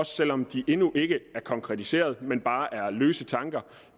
selv om de endnu ikke er konkretiseret men bare er løse tanker